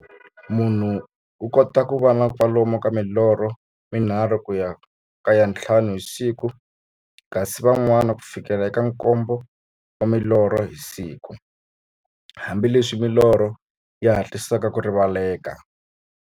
Munhu u kota ku va na kwalomu ka milorho mi nharhu ku ya ka ya nthlanu hi siku, kasi van'wana ku fikela eka nkombo wa milorho hi siku, hambileswi milorho yi hatlisaka ku rivaleka.